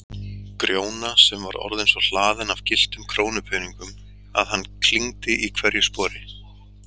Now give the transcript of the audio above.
Grjóna sem var orðinn svo hlaðinn af gylltum krónupeningum að hann klingdi í hverju spori.